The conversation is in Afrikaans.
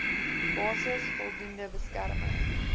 basis voldoende beskerming